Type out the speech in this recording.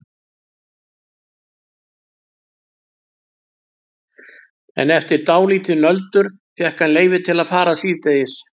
En eftir dálítið nöldur fékk hann leyfi til að fara síðdegis.